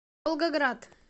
волгоград